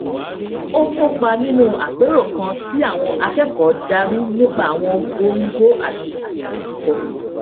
ó kópa nínú àpérò kan tí àwọn akẹkọọ darí nípa àwọn góńgó àti àṣà kíkọ